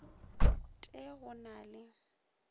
t e go na le